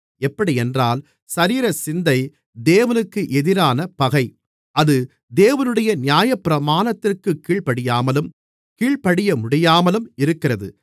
எப்படியென்றால் சரீரசிந்தை தேவனுக்கு எதிரான பகை அது தேவனுடைய நியாயப்பிரமாணத்திற்குக் கீழ்ப்படியாமலும் கீழ்ப்படியமுடியாமலும் இருக்கிறது